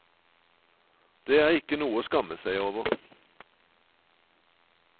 Det er ikke noe å skamme seg over.